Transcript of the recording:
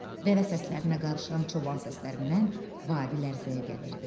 Dəvə səslərinə qarışan çoban səslərindən vadi lərzəyə gəlirdi.